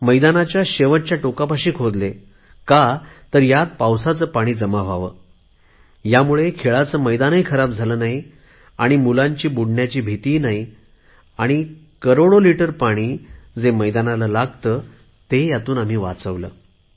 मैदानाच्या शेवटच्या टोकापाशी खोदले का तर तयात पावसाचे पाणी जमा व्हावे त्यामुळे खेळाचे मैदानही खराब झाले नाही मुलांची बुडण्याची भीती नाही आणि करोडो लिटर पाणी जे मैदानाला लागत ते आम्ही वाचविले